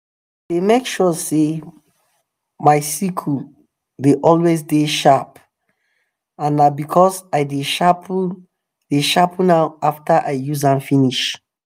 i dey make sure say my sickle dey always dey sharp and na because i dey sharpen dey sharpen am after i use am finish.